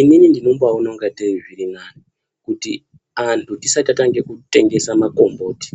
Inini ndinombaone ingatei zviri nane kuti antu tisati tatange kutengesa makombotu